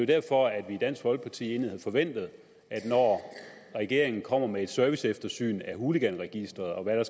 derfor at vi i dansk folkeparti egentlig havde forventet at regeringen kommer med et serviceeftersyn af hooliganregisteret og hvad der